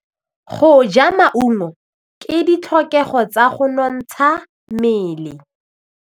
Go ja maungo ke ditlhokegô tsa go nontsha mmele.